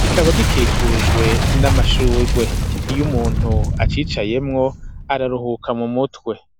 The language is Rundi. kikaba gikikujwe n'amashurwe iyo umuntu nu acicayemwo araruhuka mu mutwe.